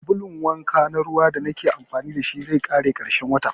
Sabulun wanka na ruwa da nake amfani da shi zai ƙare ƙarshen wata